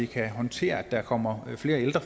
kan håndtere at der kommer flere ældre